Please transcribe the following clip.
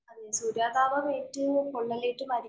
അതേ, സൂര്യാതാപമേറ്റ് പൊള്ളലേറ്റ് മരി